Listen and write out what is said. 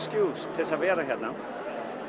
til að vera hérna